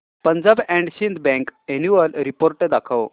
Punjab and Sind bank annual report दाखव